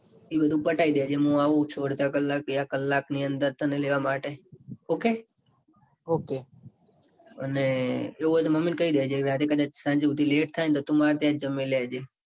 એ બધું પતાઈ દેજે. હું એવું છું. અડધા કલાક બે કલાક ની અંદર તને લેવા માટે ok ok એવું હોય ન તો મમી ન કઈ દેજે. કે આજે કદાચ સાંજે સુધી late થાય ન તો તું માર ત્યાંજ જમી લેજે.